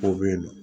Dɔw bɛ yen nɔ